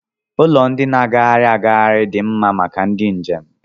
Ụlọ ndị na-agagharị agagharị dị mma maka ndị njem